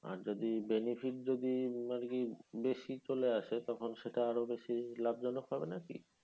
আর যদি benefit যদি বেশি চলে আসে তখন সেটা আরও বেশি লাভজনক হবে না কী?